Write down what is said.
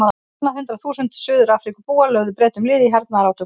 Á annað hundrað þúsund Suður-Afríkubúar lögðu Bretum lið í hernaðarátökum.